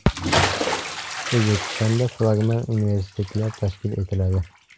O‘zbekistonda flagman universitetlar tashkil etiladi.